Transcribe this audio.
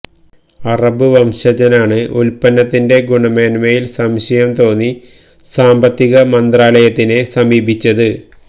Arab വംശജനാണ് ഉല്പ്പന്നത്തിന്റെ ഗുണമേന്മയില് സംശയം തോന്നി സാമ്പത്തിക് മന്ത്രാലയത്തിനെ സമീപിച്ചത്